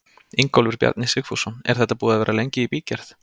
Ingólfur Bjarni Sigfússon: Er þetta búið að vera lengi í bígerð?